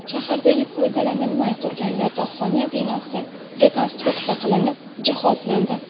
Shahardagi foydalanilmay turgan yotoqxona binosi rekonstruksiya qilinib, jihozlandi.